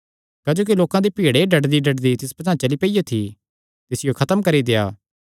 क्जोकि लोकां दी भीड़ एह़ डड्डदीडड्डदी तिस पचांह़ चली पियो थी तिसियो खत्म करी देआ